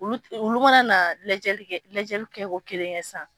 Olu mana na lajɛli kɛ lajɛli kɛ ko kelen kɛ sisan.